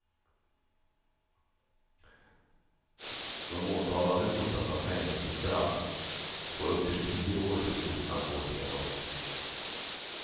De åtalade hotas av fängelsestraff på upp till tio år för grovt narkotikabrott.